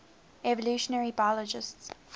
evolutionary biologists